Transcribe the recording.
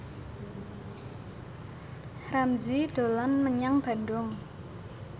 Ramzy dolan menyang Bandung